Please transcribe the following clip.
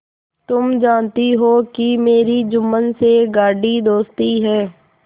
तुम जानती हो कि मेरी जुम्मन से गाढ़ी दोस्ती है